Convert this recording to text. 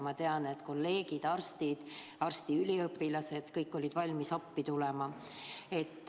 Ma tean, et kolleegid, nii arstid kui ka arstiteaduse üliõpilased, olid kõik valmis teile appi tulema.